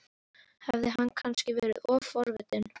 Hafði hann kannski verið of forvitin?